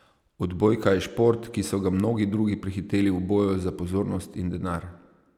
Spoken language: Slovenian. Odbojka je šport, ki so ga mnogi drugi prehiteli v boju za pozornost in denar.